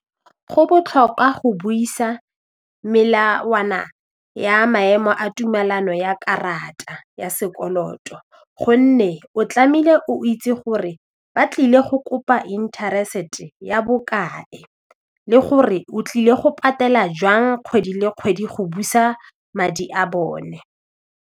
Go botlhokwa go buisa melawana ya maemo a tumelano ya karata ya sekoloto gonne o tlame'ile o itse gore ba tlile go kopa interest ya bokae le gore o tlile go patela jwang kgwedi le kgwedi go busa madi a bone.